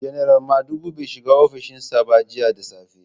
Janar Madugu bai shiga ofishin sa ba jiya da safe.